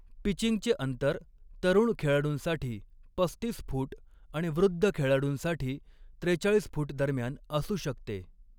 पिचिंगचे अंतर तरुण खेळाडूंसाठी पस्तीस फूट आणि वृद्द खेळाडूंसाठी त्रेचाळीस फूट दरम्यान असू शकते.